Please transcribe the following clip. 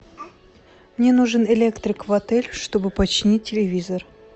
мне нужен электрик в отель чтобы починить телевизор